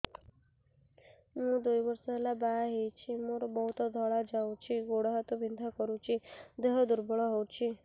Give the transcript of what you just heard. ମୁ ଦୁଇ ବର୍ଷ ହେଲା ବାହା ହେଇଛି ମୋର ବହୁତ ଧଳା ଯାଉଛି ଗୋଡ଼ ହାତ ବିନ୍ଧା କରୁଛି ଦେହ ଦୁର୍ବଳ ହଉଛି